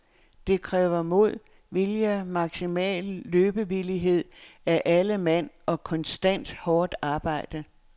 Det kræver mod, vilje, maksimal løbevillighed af alle mand og konstant hårdt arbejde.